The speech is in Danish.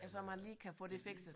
Ja så man lige kan få det fikset